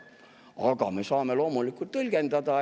Aga me saame loomulikult tõlgendada.